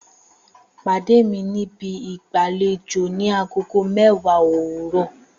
Pàdé mi níbi ìgbàlejò ni agogo mẹ́wàá òwúrọ̀!